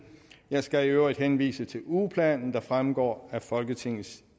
jeg skal i øvrigt henvise til ugeplanen der fremgår af folketingets